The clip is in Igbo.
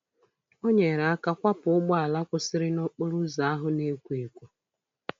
Onyere aka kwapụ ụgbọala kwụsịrị nokporoụzọ ahụ na-ekwo ekwo.